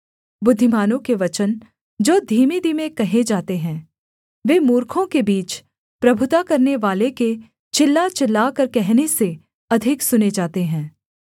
बुद्धिमानों के वचन जो धीमेधीमे कहे जाते हैं वे मूर्खों के बीच प्रभुता करनेवाले के चिल्ला चिल्लाकर कहने से अधिक सुने जाते हैं